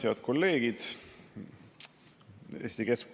Head kolleegid!